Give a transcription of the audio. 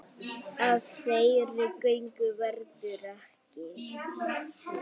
Af þeirri göngu verður ekki.